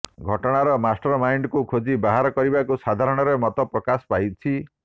ଘଟଣାର ମାଷ୍ଟର ମାଇଣ୍ଡକୁ ଖୋଜି ବାହାର କରିବାକୁ ସାଧାରଣରେ ମତ ପ୍ରକାଶ ପାଉଛି